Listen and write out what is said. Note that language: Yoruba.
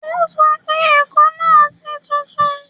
O sọ pé ẹ̀kọ náà ti tutù